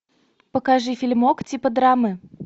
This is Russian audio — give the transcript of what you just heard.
покажи фильмок типа драмы